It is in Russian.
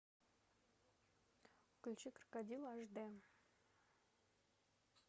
включи крокодил аш дэ